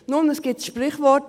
Nun, es gibt das Sprichwort: